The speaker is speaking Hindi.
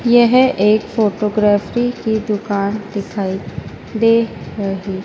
यह एक फोटोग्राफी की दुकान दिखाई दे रही--